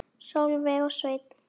Sólveig og Sveinn.